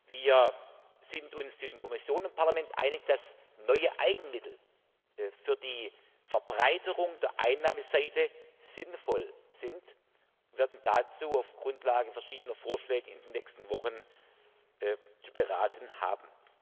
Wir sind uns zwischen Kommission und Parlament einig, dass neue Eigenmittel für die Verbreiterung der Einnahmeseite sinnvoll sind, und werden dazu auf Grundlage verschiedener Vorschläge in den nächsten Wochen zu beraten haben.